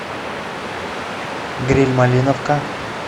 гриль малиновка